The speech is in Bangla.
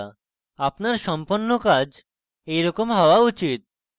আপনার সম্পন্ন কাজ এইরকম হওয়া উচিত